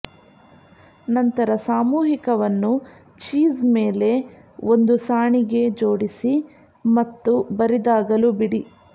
ನಂತರ ಸಾಮೂಹಿಕವನ್ನು ಚೀಸ್ ಮೇಲೆ ಒಂದು ಸಾಣಿಗೆ ಜೋಡಿಸಿ ಮತ್ತು ಬರಿದಾಗಲು ಬಿಡಿ